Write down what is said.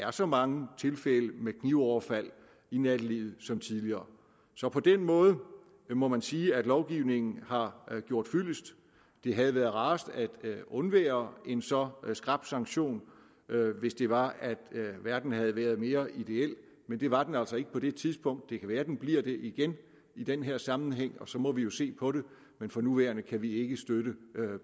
er så mange tilfælde med knivoverfald i nattelivet som tidligere så på den måde må man sige at lovgivningen har gjort fyldest det havde været rarest at undvære en så skrap sanktion hvis det var at verden havde været mere ideel men det var den altså ikke på det tidspunkt det kan være den bliver det igen i den her sammenhæng og så må vi jo se på det men for nuværende kan vi ikke støtte